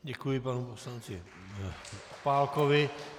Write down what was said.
Děkuji panu poslanci Opálkovi.